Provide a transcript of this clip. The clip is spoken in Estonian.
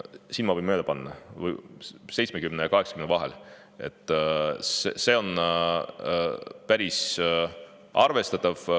Siin ma võin mööda panna, aga see oli 70% ja 80% vahel, päris arvestatav.